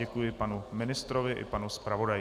Děkuji panu ministrovi i panu zpravodaji.